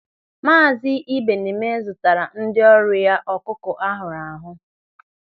Maazi Ibeneme zụtara ndị ọrụ ya ọkụkọ ahụrụ ahụ.